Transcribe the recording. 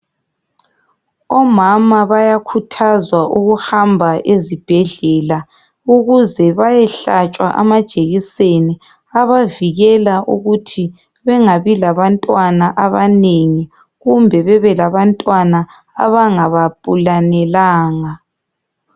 Omama bayakhuthazwa ukuhamba ezibhedlela ukuze bayehlatshwa amajekiseni abavikela ukuthi bengabi labantwana abanengi kumbe bebe labantwana abangabaplanelanga.